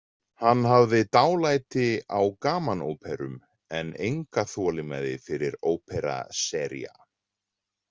Hann hafði dálæti á gamanóperum en enga þolinmæði fyrir opera seria.